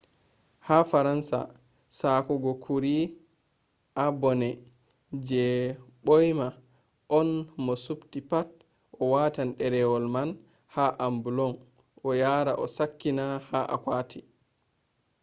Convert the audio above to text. ha faransa ,sakkungoo kurii a bane je boima on mo a subtii pat a watan derewol man ha ambulon a yaha a sakkina ha akwoti